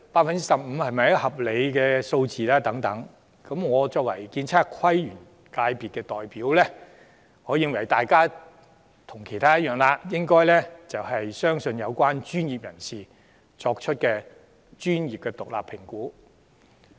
我作為建築、測量、都市規劃及園境界的代表則認為，大家應該相信有關專業人士作出的獨立專業評估。